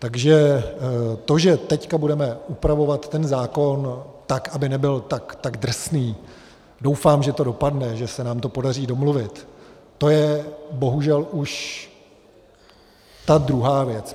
Takže to, že teď budeme upravovat ten zákon tak, aby nebyl tak drsný, doufám, že to dopadne, že se nám to podaří domluvit, to je bohužel už ta druhá věc.